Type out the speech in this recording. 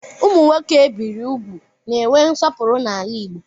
Ụmụ nwoke ebiri úgwù na-enwe nsọpụrụ n'ala Igbo.